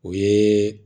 O ye